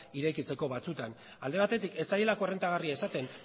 irekitzeko batzutan alde batetik ez zaielako errentagarria izaten